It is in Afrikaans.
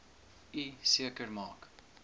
u seker maak